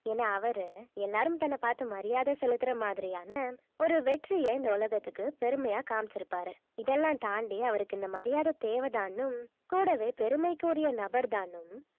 ஏன்னா அவரு எல்லாரும் தன்னைப் பார்த்து மரியாதை செலுத்தற மாதிரியான ஒரு வெற்றியை இந்த உலகத்துக்கு பெருமையா காமிச்சிருப்பாரு இதெல்லாம் தாண்டி அவருக்கு இந்த மரியாதை தேவைதான்னும் கூடவே பெருமைக்குரிய நபர் தான்னும்